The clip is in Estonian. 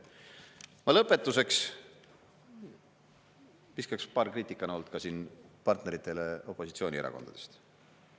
Ma lõpetuseks viskaks paar kriitikanooti ka siin partneritele opositsioonierakondadest.